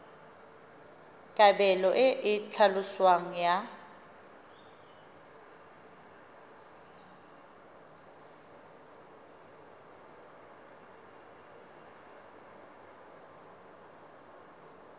kabelo e e tlhaloswang ya